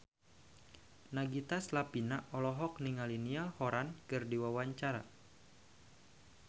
Nagita Slavina olohok ningali Niall Horran keur diwawancara